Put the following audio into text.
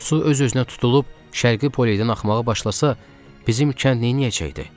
Su öz-özünə tutulub şərqi poleydən axmağa başlasa, bizim kənd neyləyəcəkdi?